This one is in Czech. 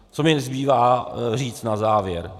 Co mi zbývá říct na závěr?